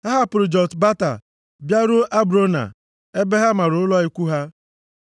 Ha hapụrụ Jotbata bịaruo Abrona ebe ha mara ụlọ ikwu ha.